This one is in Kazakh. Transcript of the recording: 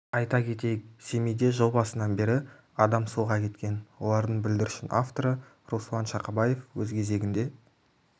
айта кетейік семейде жыл басынан бері адам суға кеткен олардың бүлдіршін авторы руслан шақабаев өз кезегінде